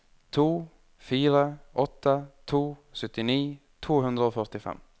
to fire åtte to syttini to hundre og førtifem